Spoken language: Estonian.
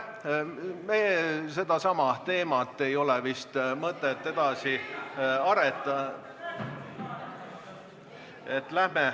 Seda teemat ei ole vist mõtet edasi ...... arendada.